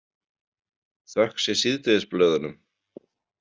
Þökk sé síðdegisblöðunum.